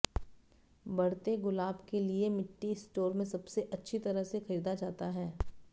बढ़ते गुलाब के लिए मिट्टी स्टोर में सबसे अच्छी तरह से खरीदा जाता है